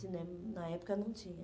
Cinema, na época, não tinha.